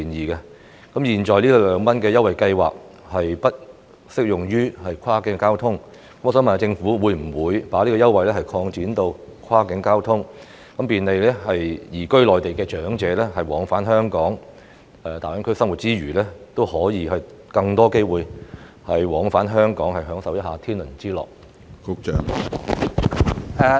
由於現行的二元優惠計劃不適用於跨境交通，我想問政府會否將這項優惠計劃擴展至跨境交通，以便利移居內地的長者往返香港，讓他們在大灣區生活之餘，也可以有更多機會往返香港享受一下天倫之樂？